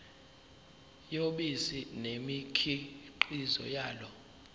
yobisi nemikhiqizo yalo